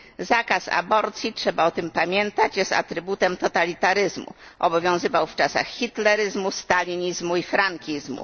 Zakaz aborcji, trzeba o tym pamiętać, jest atrybutem totalitaryzmu, obowiązywał w czasach hitleryzmu, stalinizmu i frankizmu.